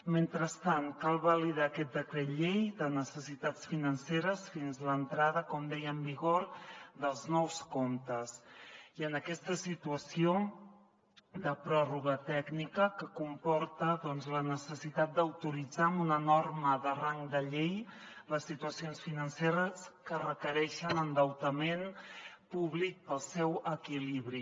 mentrestant cal validar aquest decret llei de necessitats financeres fins a l’entrada com deia en vigor dels nous comptes i en aquesta situació de pròrroga tècnica que comporta doncs la necessitat d’autoritzar una norma de rang de llei per a les situacions financeres que requereixen endeutament públic per al seu equilibri